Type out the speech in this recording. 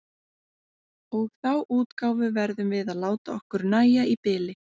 Og þá útgáfu verðum við að láta okkur nægja í bili.